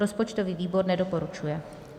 Rozpočtový výbor nedoporučuje.